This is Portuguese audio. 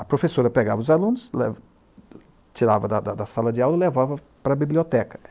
A professora pegava os alunos, tirava da sala de aula e levava para a biblioteca.